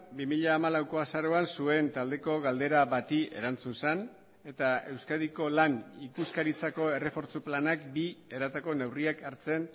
bi mila hamalauko azaroan zuen taldeko galdera bati erantzun zen eta euskadiko lan ikuskaritzako errefortzu planak bi eratako neurriak hartzen